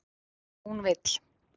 hún vill